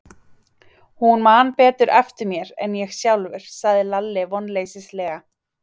Hún man betur eftir mér en ég sjálfur, sagði Lalli vonleysislega.